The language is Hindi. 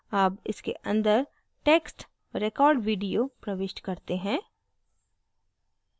अब इसके अंदर text record video प्रविष्ट करते हैं